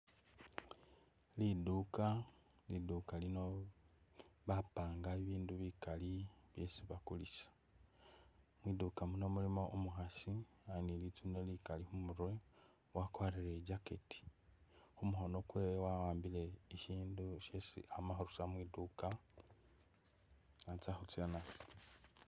Liduuka, liduuka lino bapanga ibindu bikaali byesi bakulisa mwinduka muno mulimo umukhaasi ali ni'litsune likaali khumurwe, wakwarile i'jacket mukhono kwewe wa'ambile isindu shesi amakhurusa mwi'duuka khatsa khutsa nasho